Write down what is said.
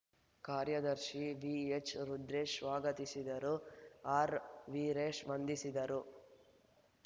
ಕಾರ್ಯದರ್ಶಿ ವಿಎಚ್‌ ರುದ್ರೇಶ್ ಸ್ವಾಗತಿಸಿದರು ಆರ್‌ ವೀರೇಶ್ ವಂದಿಸಿದರು